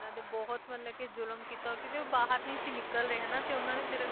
ਹਾਂ ਬਿਲਕੁਲ ਬਿਲਕੁਲ ਉਨ੍ਹਾਂ ਤੇ ਬਹੁਤ ਮਤਲਬ ਕਿ ਜ਼ੁਲਮ ਕੀਤਾ ਕਿਉਂਕਿ ਉਹ ਬਾਹਰ ਨਹੀਂ ਸੀ ਨਿੱਕਲ ਰਹੇ ਤੇ ਫੇਰ ਉਨ੍ਹਾਂ ਨੇ